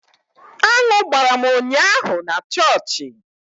Aṅụ gbara m ụnyaahụ na chọọchị